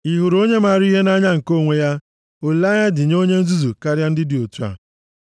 Ị hụrụ onye mara ihe nʼanya nke onwe ya? Olileanya dị nye onye nzuzu karịa ndị dị otu a.